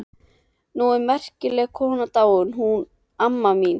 Nú er merkileg kona dáin, hún amma mín.